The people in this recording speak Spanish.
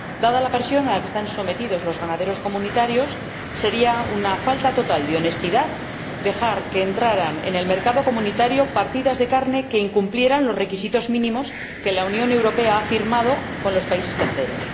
Dada la presión a la que están sometidos los ganaderos comunitarios, sería una falta total de honestidad dejar que entraran en el mercado comunitario partidas de carne que incumplieran los requisitos mínimos que la Unión Europea ha acordado con los países terceros.